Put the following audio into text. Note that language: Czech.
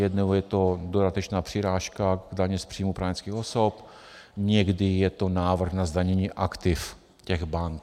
Jednou je to dodatečná přirážka k dani z příjmů právnických osob, někdy je to návrh na zdanění aktiv těch bank.